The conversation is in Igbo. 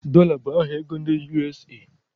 Dọla bụ aha ego ndị USA